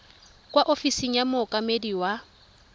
kwa ofising ya mookamedi wa